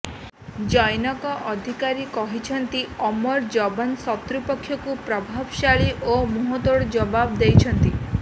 ଜୈନକ ଅଧିକାରୀ କହିଛନ୍ତି ଆମର ଯବାନ ଶତ୍ରୁ ପକ୍ଷକୁ ପ୍ରଭାବଶାଳୀ ଓ ମୁହଁତୋଡ ଜବାବ ଦେଇଛନ୍ତି